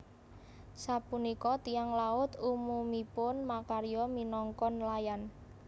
Sapunika tiyang laut umumipun makarya minangka nelayan